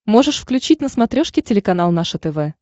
можешь включить на смотрешке телеканал наше тв